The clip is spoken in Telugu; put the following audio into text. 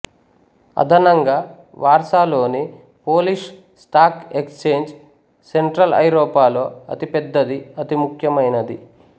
అదనంగా వార్సాలోని పోలిష్ స్టాక్ ఎక్స్ఛేంజ్ సెంట్రల్ ఐరోపాలో అతి పెద్దది అతి ముఖ్యమైనది